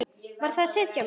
Varð að sitja á mér.